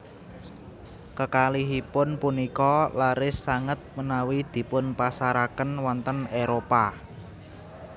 Kekalihipun punika laris sanget menawi dipunpasaraken wonten Éropah